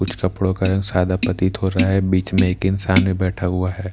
कुछ कपड़ो का रंग साधा पतित हो रहा हैं बिच में एक इंसान भी बैठा हुआ हैं --